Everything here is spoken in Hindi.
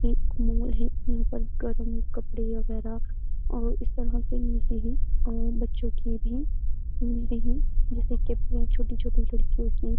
एक मॉल है यहां पर गरम कपड़े वगैरा और इस तरह के मिलते हैं और बच्चों के भी मिलते हैं जैसे कि छोटे-छोटे जो होती हैं।